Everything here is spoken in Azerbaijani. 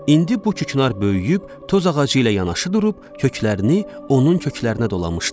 İndi bu küknar böyüyüb tozağacı ilə yanaşı durub köklərini onun köklərinə dolamışdı.